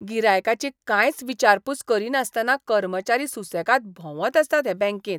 गिरायकाची कांयच विचारपूस करिनासतना कर्मचारी सुसेगाद भोंवत आसतात हे बँकेंत.